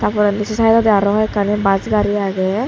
tar porendi sey saedodi arw hwekkani bas gaari agey.